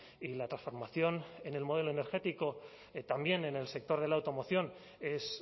y la transformación en el modelo energético también en el sector de la automoción es